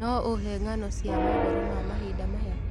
no ũhe ng'ano cia mohoro ma mahinda maya